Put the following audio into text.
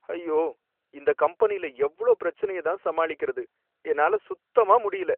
ஐயோ! இந்த கம்பெனில எவ்ளோ பிரச்சனைய தான் சமாளிக்கறது? என்னால சுத்தமா முடியல